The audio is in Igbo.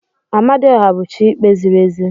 Amadioha bụ chi ikpe ziri ezi.